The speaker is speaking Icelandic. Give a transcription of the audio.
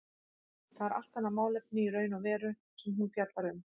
Það er allt annað málefni í raun og veru sem hún fjallar um.